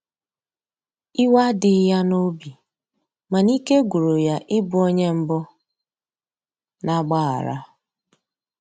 iwe adighi ya n'obi, mana ike gwụrụ ya ị bụ onye mbu na agbaghara